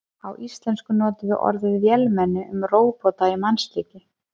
Á íslensku notum við orðið vélmenni um róbota í mannslíki.